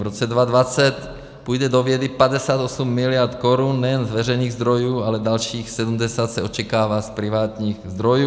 V roce 2020 půjde do vědy 58 mld. korun nejen z veřejných zdrojů, ale dalších 70 se očekává z privátních zdrojů.